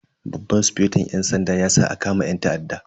Babban sufeton yan sanda ya sa a kama yan ta'addan.